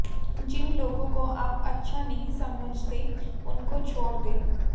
जिन लोगों को आप अच्छा नहीं समझते उनको छोड़ दें